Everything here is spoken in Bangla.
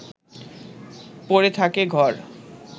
পড়ে থাকে ঘর